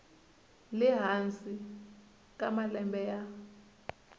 le hansi ka malembe ya